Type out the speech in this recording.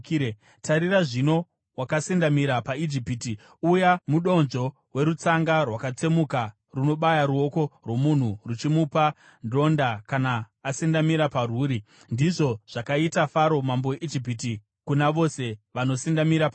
Tarira zvino, wakasendamira paIjipiti, uya mudonzvo werutsanga rwakatsemuka runobaya ruoko rwomunhu ruchimupa ronda kana asendamira parwuri! Ndizvo zvakaita Faro mambo weIjipiti kuna vose vanosendamira paari.